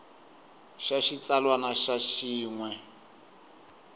xa xitsalwana na xin we